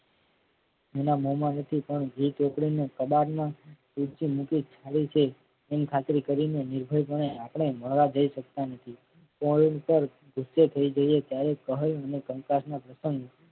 અને મોમાં રહેતી પણ ઘી ચોપડીને કબાટ માં એમ ખાતરી કરીને નિર્ભય પણે આપણે મળવા જઈ શકતા નથી પોઈલ પર ગુસ્સે થઈ જઈએ ત્યારે ભય અને કંકાસના પતંગ